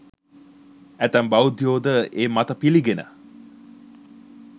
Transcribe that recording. ඇතැම් බෞද්ධයෝ ද ඒ මත පිළිගෙන